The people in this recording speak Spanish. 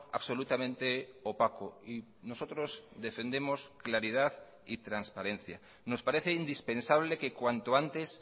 absolutamente opaco y nosotros defendemos claridad y transparencia nos parece indispensable que cuanto antes